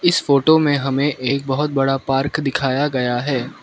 इस फोटो में हमें एक बहोत बड़ा पार्क दिखाया गया है।